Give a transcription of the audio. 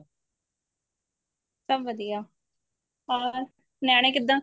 ਸਭ ਵਧੀਆ ਹੋਰ ਨਿਆਣੇ ਕਿੱਦਾਂ